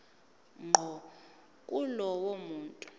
ngqo kulowo muntu